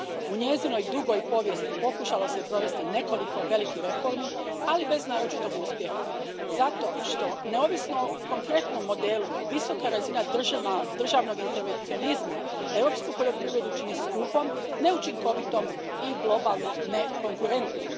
U njezinoj dugoj povijesti pokušalo se provesti nekoliko velikih reformi, ali bez naročitog uspjeha zato što, neovisno o konkretnom modelu, visoka razina državnog intervencionizma europsku poljoprivredu čini skupom, neučinkovitom i globalno nekonkurentnom.